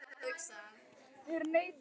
Ónafngreindur maður: Hvað gerði mamman?